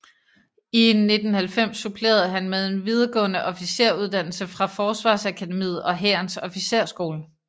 I 1990 supplerede han med en videregående officersuddannelse fra Forsvarsakademiet og Hærens Officersskole